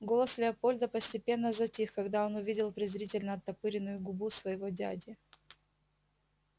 голос лепольда постепенно затих когда он увидел презрительно оттопыренную губу своего дяди